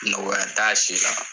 Nɔn wɛrɛ t'a si la